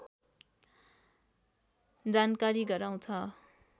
जानकारी गराउँछ